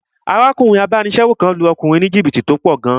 Arákùnrin abánisẹ́wò kan lu ọkùnrin ní jìbìtì owó tó pọ̀ gan